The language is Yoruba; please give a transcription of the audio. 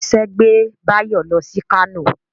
Ìṣe gbé Báyọ̀ lọ sí Kánò